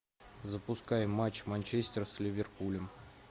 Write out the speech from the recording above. запускай матч манчестер с ливерпулем